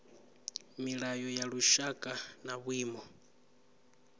milayo ya lushaka na vhuimo